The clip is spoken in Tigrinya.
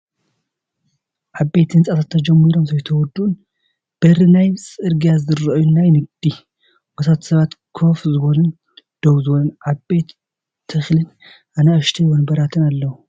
ዓበይቲ ህንፃታት ተጀሚሮም ዘይተወዲኡን በሪ ናብ ፅርግያ ዝርእዩ ናይ ንግዲ ቦታን ሰባት ከፍ ዝበሉን ደው ዝበሉን ዓባይ ተክሊን ኣንኣሽተይ ወንበራትን ኣለው።